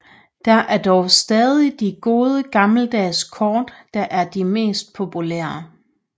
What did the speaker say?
Det er dog stadig de gode gammeldags kort der er mest populære